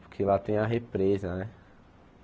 Porque lá tem a represa, né?